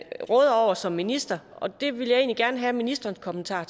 råder over som minister det vil jeg egentlig gerne have ministerens kommentar